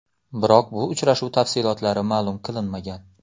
Biroq bu uchrashuv tafsilotlari ma’lum qilinmagan.